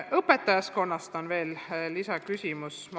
Õpetajaskonna kohta on ka küsimus.